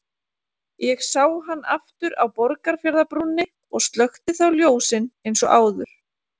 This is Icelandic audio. Ég sá hann aftur á Borgarfjarðarbrúnni og slökkti þá ljósin eins og áður.